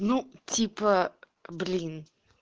ну типа блин